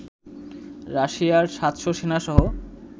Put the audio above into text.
রাশিয়ার ৭০০ সেনা সহ